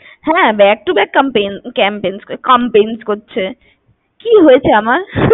হ্যাঁ, back to back campaign compance কি হয়েছে আমার?